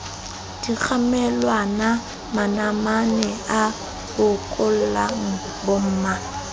dikgamelwana manamane a bokollela bomma